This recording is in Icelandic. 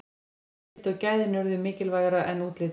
notagildið og gæðin urðu mikilvægara en útlitið